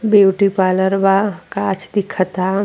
beauty parlour बा गाछ दिखाता --